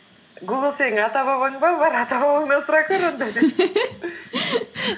гугл сенің ата бабаң ба бар ата бабаңнан сұрап көр онда деп